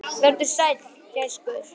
Vertu sæll, gæskur.